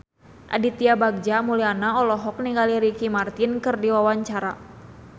Aditya Bagja Mulyana olohok ningali Ricky Martin keur diwawancara